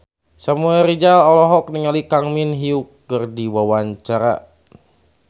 Samuel Rizal olohok ningali Kang Min Hyuk keur diwawancara